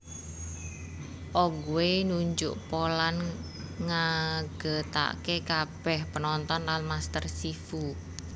Oogway nunjuk Po lan ngagètaké kabèh penonton lan Master Shifu